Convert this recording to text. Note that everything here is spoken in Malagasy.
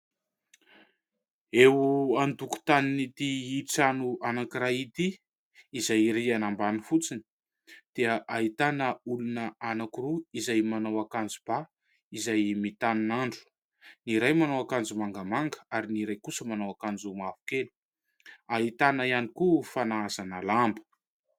Eo an-tokontanin'ity trano anankiray ity izay rihana ambany fotsiny dia ahitana olona anaky roa izay manao akanjo ba, izay mitanin'andro, ny iray manao akanjo mangamanga ary ny iray kosa manao akanjo mavokely ahitana ihany koa fanahazana lamba.